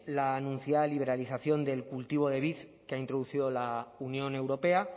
la anunciada liberalización del cultivo del vid que ha introducido la unión europea